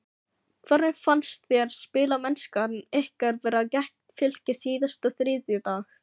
Hvernig fannst þér spilamennskan ykkar vera gegn Fylki síðasta þriðjudag?